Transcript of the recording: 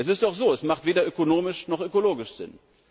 Es ist doch so Es macht weder ökonomisch noch ökologisch Sinn.